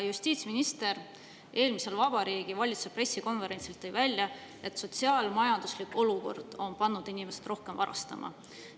Justiitsminister tõi eelmisel Vabariigi Valitsuse pressikonverentsil välja, et sotsiaal-majanduslik olukord on pannud inimesi rohkem varastama.